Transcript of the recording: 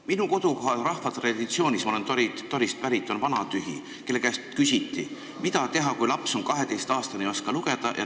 Minu kodukoha rahvatraditsioonis – ma olen Torist pärit – on selline tegelane nagu vanatühi, kelle käest küsiti, mida teha, kui laps on 12-aastane, aga ei oska lugeda.